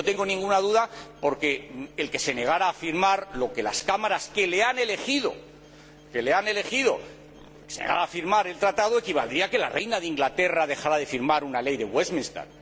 Y no tengo ninguna duda porque el que se negara a firmar lo que han aprobado las Cámaras que le han elegido, el que se negara a firmar el Tratado, equivaldría a que la Reina de Inglaterra dejara de firmar una ley de Westminster.